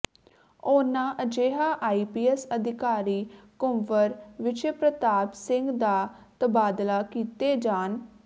ਉਨ੍ਹਾਂ ਅਜਿਹਾ ਆਈਪੀਐੱਸ ਅਧਿਕਾਰੀ ਕੁੰਵਰ ਵਿਜੇ ਪ੍ਰਤਾਪ ਸਿੰਘ ਦਾ ਤਬਾਦਲਾ ਕੀਤੇ ਜਾਣ